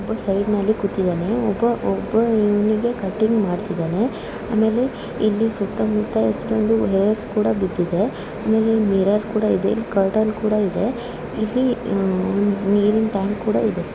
ಒಬ್ಬ ಸೈಡ್ ನಲ್ಲಿ ಕೂತಿದನೇ ಒಬ್ಬ ಒಬ್ಬ ಇವನಿಗೆ ಕಟಿಂಗ್ ಮಾಡ್ತಿದನೆ. ಆಮೇಲೆ ಇಲ್ಲಿ ಸುತ್ತಮುತ್ತ ಎಷ್ಟೊಂದು ಹೇರ್‍ಸ್ ಕೂಡ ಬಿದ್ದಿದೆ ಆಮೇಲೆ ಮಿರರ್ ಕೂಡ ಇದೇ ಕರ್ಟನ್ ಕೂಡ ಇದೆ ಇಲ್ಲಿ ಒಂದು ನೀರಿನ ಟ್ಯಾಂಕ್ ಕೂಡ ಇದೆ.